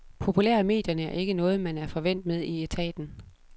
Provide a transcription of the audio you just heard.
Populær i medierne er ikke noget man er forvænt med i etaten.